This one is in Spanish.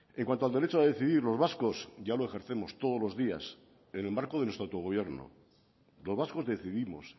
en cuanto al derecho a decidir los vascos ya lo ejercemos todos los días en el marco de nuestro autogobierno los vascos decidimos